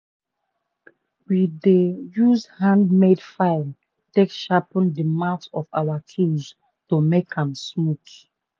we dey use handmade file take sharpen the mouth of our tools to make am smaooth